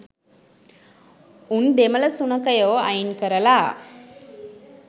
උන් දෙමළ සුනඛයෝ අයින් කරල